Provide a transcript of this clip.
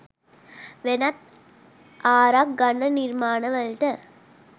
වෙනත් ආරක් ගන්න නිර්මාණවලට